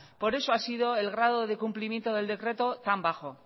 por eso ha sido el grado de cumplimiento del decreto tan bajo